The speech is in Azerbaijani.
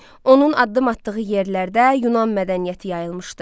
Onun addım atdığı yerlərdə Yunan mədəniyyəti yayılmışdı.